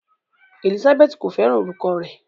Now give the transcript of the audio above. Elizabeth ko fẹràn olùkọ rẹ.